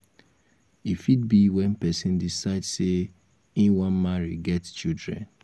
e fit be when person decide sey im wan marry get children